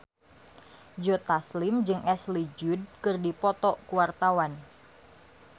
Joe Taslim jeung Ashley Judd keur dipoto ku wartawan